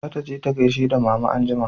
Za ta je ta gaishe da mama anjima